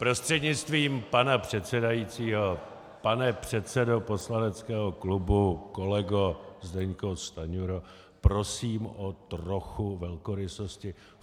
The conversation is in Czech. Prostřednictvím pana předsedajícího, pane předsedo poslaneckého klubu, kolego, Zdeňku Stanjuro, prosím o trochu velkorysosti.